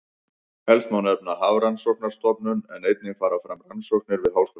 Helst má nefna Hafrannsóknastofnun en einnig fara fram rannsóknir við Háskóla Íslands.